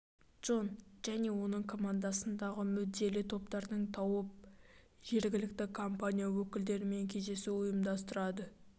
джон және оның командасы қоғамдағы мүдделі топтарды тауып жергілікті компания өкілдерімен кездесу ұйымдастырады